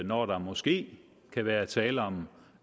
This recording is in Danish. når der måske kan være tale om